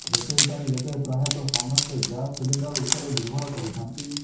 ରୋଷେଇ ପାଇଁ ଏବେ ପ୍ରାୟତଃ ସମସ୍ତେ ଗ୍ୟାସ୍ ସିଲିଣ୍ଡର ଉପରେ ନିର୍ଭର କରିଥାନ୍ତି